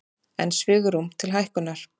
Enn svigrúm til lækkunar